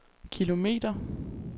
kilometer